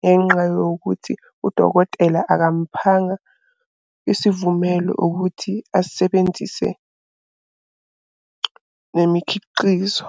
Ngenxa yokuthi udokotela akamuphanga isivumelo ukuthi asebenzise nemikhiqizo.